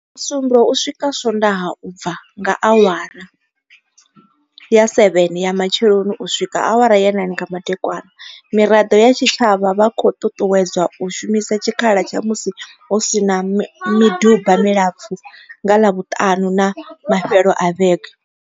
Musumbuluwo u swika swondaha u bva nga awara ya 7 ya matsheloni u swika awara ya 9 nga madekwana, miraḓo ya tshitshavha vha khou ṱuṱuwedzwa u shumisa tshikhala tsha musi hu si na miduba milapfu nga ḽavhuṱanu na mafhelo a vhege.